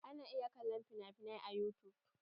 Ana iya kallon finafinai a yutub.